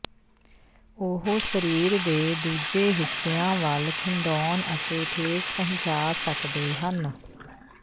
ਉਹ ਸਰੀਰ ਦੇ ਦੂਜੇ ਹਿੱਸਿਆਂ ਵੱਲ ਖਿੰਡਾਉਣ ਅਤੇ ਠੇਸ ਪਹੁੰਚਾ ਸਕਦੇ ਹਨ